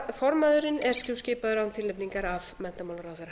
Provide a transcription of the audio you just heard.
formaðurinn er skipaður án tilnefningar af menntamálaráðherra